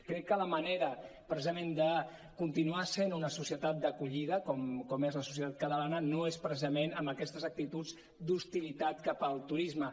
crec que la manera precisament de continuar sent una societat d’acollida com és la societat catalana no és precisament amb aquestes actituds d’hostilitat cap al turisme